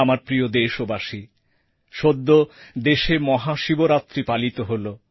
আমার প্রিয় দেশবাসী সদ্য দেশে মহাশিবরাত্রি পালিত হল